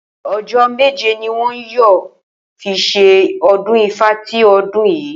O̩jó̩ méje ni wo̩n yóò fi s̩e o̩dún Ifá ti o̩dún yìí